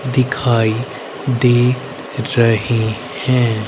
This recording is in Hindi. दिखाई दे रहे हैं।